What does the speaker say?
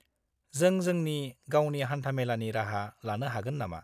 जों जोंनि गावनि हान्थामेलानि राहा लानो हागोन नामा?